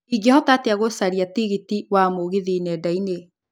ingĩhota Ĩtĩa gũcaria tigiti wa mũgithi nendainĩ